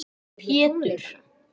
Pétur